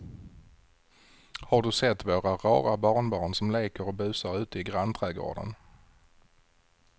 Har du sett våra rara barnbarn som leker och busar ute i grannträdgården!